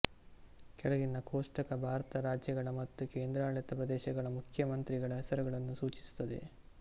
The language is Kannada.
ಕೆಳಗಿನ ಕೋಷ್ಟಕ ಭಾರತದ ರಾಜ್ಯಗಳ ಮತ್ತು ಕೇಂದ್ರಾಡಳಿತ ಪ್ರದೇಶಗಳ ಮುಖ್ಯಮಂತ್ರಿಗಳ ಹೆಸರುಗಳನ್ನು ಸೂಚಿಸುತ್ತದೆ